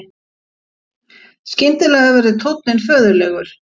Skyndilega verður tónninn föðurlegur